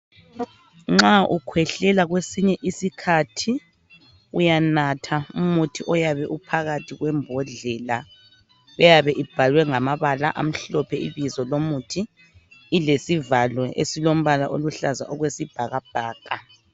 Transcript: Nxa ukhwehlela kwesinye isikhathi uyanatha umuthi oyabe uphakathi kwembodlela eyabe ibhalwe ngamabala amhlophe ibizo lomuthi ilesivalo esilombala oluhlaza okwesibhakabhaka.